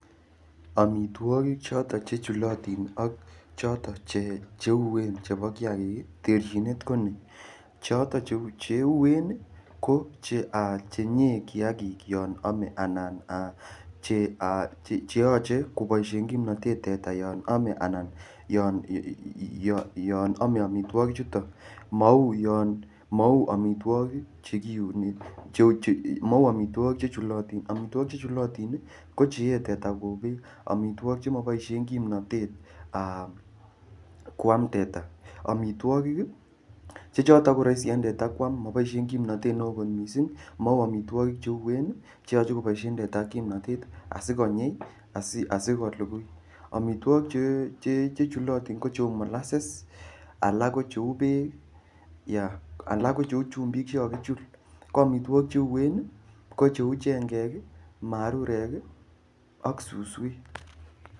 Amitwogik choton che chulotin ak choton che uen chebo kiagik, terchinet ko ni. Choton cheuen ko chenyee kiagik yon ame anan che aa cheyoche koboisien kimnatet teta yon ame anan yon ame amitwogichuto. Mau amitwogik chekinyoru che mau amitwogik chechulotin. Amitwogik che chulotin ko che yee teta kou beek. mitwogik che maboisie kimnatet aa kwam teta. Amitwogik che choton koraisi en teta moboisien kimnatet neo kot mising, mau amitwogik che uen che yoche koboisien teta kimnatet asikonyi asikolugui. Amitwogik che chulotin ko cheu molases, alak ko cheu beek, alak ko cheu chumbik che kakichul. Ko amitwogik che uen ko cheu chengek, marurek ak suswek.